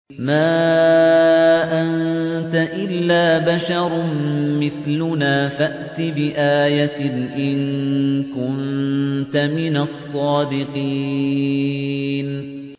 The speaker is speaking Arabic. مَا أَنتَ إِلَّا بَشَرٌ مِّثْلُنَا فَأْتِ بِآيَةٍ إِن كُنتَ مِنَ الصَّادِقِينَ